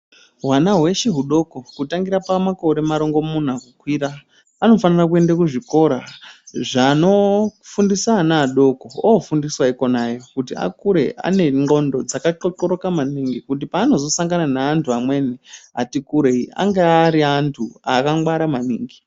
Hwana hweshe hudoko, kutangira pamakore marongomuna kukwira, anofanire kuende kuzvikora zvanofundisa ana adoko, oofundiswa ikwonayo kuti akure ane ngqondo dzakaqoqoroka maningi, kuti paanozosangana neantu amweni ati kurei, ange ari antu akangwara maningi.